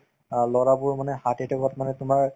অ, লৰাবোৰ মানে heart attack ত মানে তোমাৰ